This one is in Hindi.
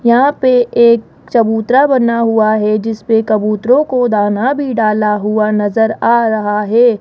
यहां पे एक चबूतरा बना हुआ है जिसपे कबूतरों को दाना भी डाला हुआ नजर आ रहा है।